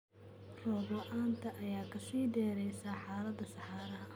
Roob la'aanta ayaa ka sii dareysa xaaladda saxaraha.